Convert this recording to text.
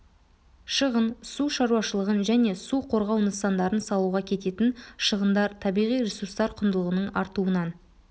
шығын су шаруашылығын және су қорғау нысандарын салуға кететін шығындар табиғи ресурстар құндылығының артуынан